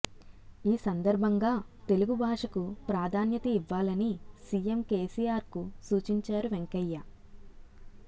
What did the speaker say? ఈ సందర్భంగా తెలుగు భాషకు ప్రాధాన్యత ఇవ్వాలని సీఎం కేసీఆర్కు సూచించారు వెంకయ్య